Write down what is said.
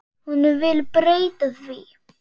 Hún vill breyta því.